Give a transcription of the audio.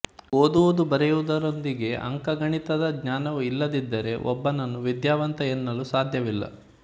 ಓದುವುದುಬರೆಯುವುದರೊಂದಿಗೆ ಅಂಕಗಣಿತದ ಜ್ಞಾನವೂ ಇಲ್ಲದಿದ್ದರೆ ಒಬ್ಬನನ್ನು ವಿದ್ಯಾವಂತ ಎನ್ನಲು ಸಾದ್ಯವಿಲ್ಲ